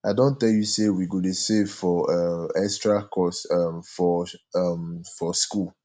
i don tell you sey we go dey save for um extra cost um for um for skool